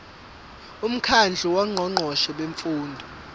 umkhandlu wongqongqoshe bemfundo